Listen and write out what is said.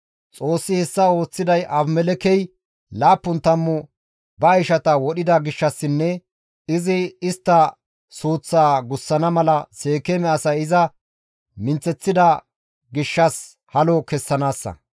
Xoossi hessa ooththiday Abimelekkey laappun tammu ba ishata wodhida gishshassinne izi istta suuththaa gussana mala Seekeeme asay iza minththeththida gishshas halo kessanaassa.